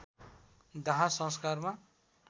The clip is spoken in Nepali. दाह संस्कारमा